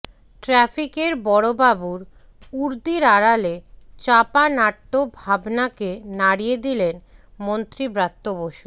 ট্রাফিকের বড়বাবুর উর্দির আড়ালে চাপা নাট্য ভাবনাকে নাড়িয়ে দিলেন মন্ত্রী ব্রাত্য বসু